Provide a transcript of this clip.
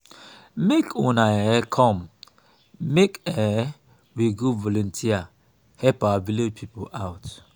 make una um come make um we go volunteer help our village people out